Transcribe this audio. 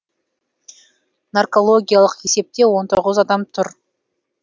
наркологиялық есепте он тоғыз адам тұр